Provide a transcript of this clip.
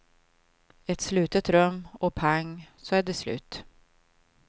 Ett slutet rum och pang så är det slut.